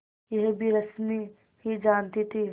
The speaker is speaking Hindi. यह भी रश्मि ही जानती थी